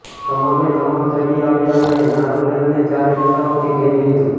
તમામે તમામ ચડી આવ્યા અને નારનૌલને ચારો દિશાઓમાંથી ઘેરી લિધુ